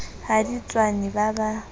ha di tswane ba ba